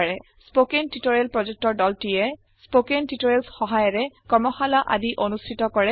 স্পেকন tutorial প্ৰজেক্টৰ দলটিয়ে spoken tutorialsৰ সহায়েৰে কৰ্মশালা আদি অনুষ্ঠিত কৰে